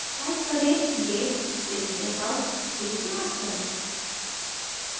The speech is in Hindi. type करें: git space checkout space master